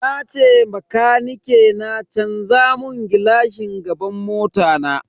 Nace bakanike na canza mun gilashin gaban mota na.